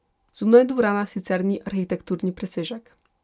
Zunaj dvorana sicer ni arhitekturni presežek.